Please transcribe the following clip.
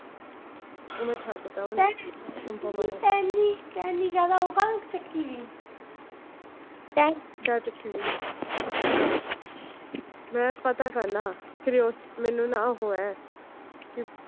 ਮੈ ਛੱਡ ਤਾਂ ਉਹਨੂੰ ਅਨੂਪਮਾ ਨੂੰ। ਮੈ ਪਤਾ ਕਰਨਾ ਮੈਨੂੰ ਨਾ ਉਹ ਹੈ